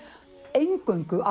eingöngu